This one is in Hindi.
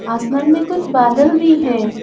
आसमान में कुछ बादल भी हैं।